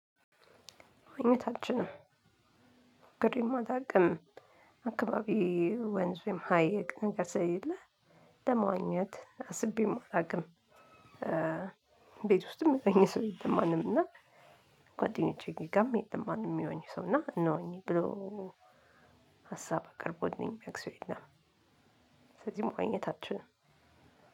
አይነታችንን ግዴማ ዳግም አካባቢ ወንዝም ሀይቅ ነገር ስለሌለ ለመዋኘት አስቤም አላውቅም። ቤት ውስጥም የሚዋኝ ሰው የለም። ማንም እና ጓደኞቼ ጋርም የለም። ማንም ሚዋኝ ሰው እና እንዋኝ ብሎ ሀሳብ አቅርቦልኝ ሚያውቅ ሰው የለም። ስለዚህ መዋኘት አልችልም።